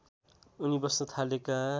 उनी बस्न थालेका